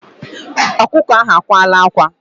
Ọkụkọ ahụ akwala ákwá.